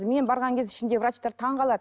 мен барған кезде ішінде врачтар таңғалады